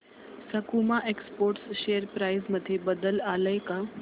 सकुमा exports share price मध्ये बदल आलाय का